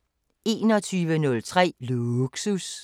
21:03: Lågsus